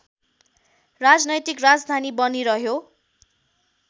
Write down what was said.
राजनैतिक राजधानी बनिरह्यो